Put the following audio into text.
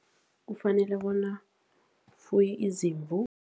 Kufanele bona ufuye izimvu.